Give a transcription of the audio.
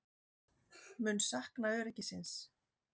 Mun sakna öryggisins.